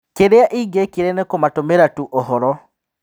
Kĩrĩa ingĩekire nĩkũmatũmĩra-tu ũhoro.